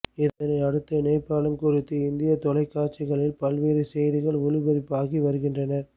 இதனை அடுத்து நேபாளம் குறித்து இந்திய தொலைக்காட்சிகளில் பல்வேறு செய்திகள் ஒளிபரப்பாகி வருகின்றன